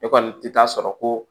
E kɔni tɛ taa sɔrɔ ko